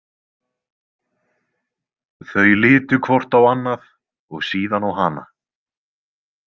Þau litu hvort á annað og síðan á hana.